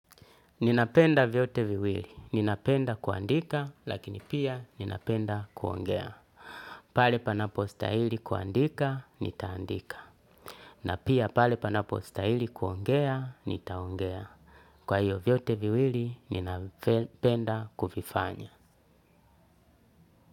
Ninapenda vyote viwili. Ninapenda kuandika, lakini pia ninapenda kuongea. Pale panapo stahili kuandika nitaandika. Na pia pale panapo stahili kuongea, nitaongea. Kwa hiyo vyote viwili, ninapenda kuvifanya.